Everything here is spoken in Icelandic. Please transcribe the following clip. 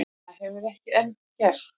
Það hefur hann ekki gert.